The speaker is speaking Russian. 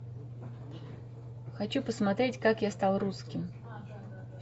хочу посмотреть как я стал русским